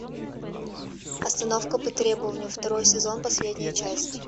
остановка по требованию второй сезон последняя часть